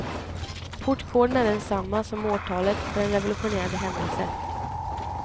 Portkoden är densamma som årtalet för en revolutionerande händelse.